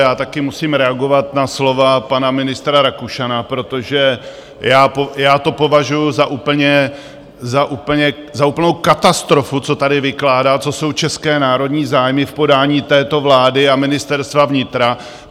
Já také musím reagovat na slova pana ministra Rakušana, protože já to považuji za úplnou katastrofu, co tady vykládá, co jsou české národní zájmy v podání této vlády a Ministerstva vnitra.